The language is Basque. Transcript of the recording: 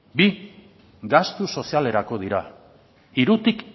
bi gastu sozialeko dira hirutik